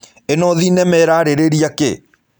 Ĩno thinema ĩrarĩrĩria kĩ?